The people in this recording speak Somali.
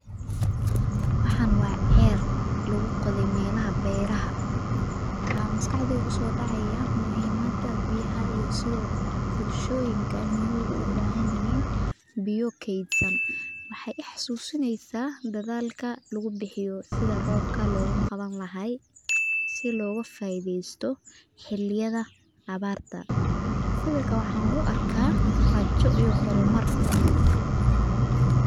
Waxan waa cel lagu qothe melaha beeraha waxaa maskaxdeyda kusodacaya muhiimaada biyaha iyo sithe bulshoyinka ee ogu bahan yihin biyo kedsan waxee I xasusineysaa dadhalka lagu bixiyo sitha robka kawan lahay loga faidhesto xiliyaada abarta, sawirka waxan u arka rajo iyo hormar.